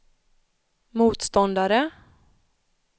motståndare